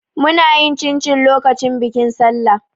Muna yin cincin lokacin bikin Sallah.